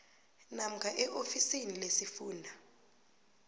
namkha eofisini lesifunda